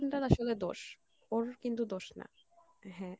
situation টার আসলে দোষ ওর কিন্তু দোষ না, হ্যাঁ